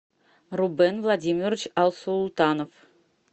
рубен владимирович алсултанов